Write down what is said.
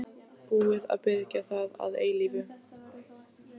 Þá kemur dóttir eigandans og tekur við af henni.